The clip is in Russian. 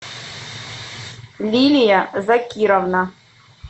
лилия закировна